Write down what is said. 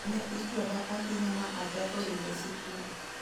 Neichwada ahinya ma achako ringo sikul.